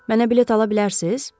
Mənə bilet ala bilərsiz?